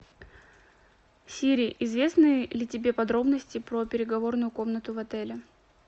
сири известны ли тебе подробности про переговорную комнату в отеле